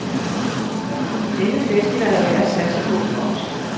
Denne festival er værd at satse på for os.